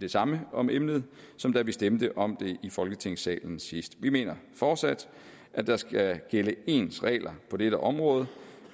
det samme om emnet som da vi stemte om det i folketingssalen sidst vi mener fortsat at der skal gælde ens regler på dette område